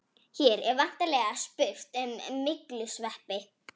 Hér er væntanlega spurt um myglusveppi.